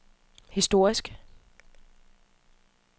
historisk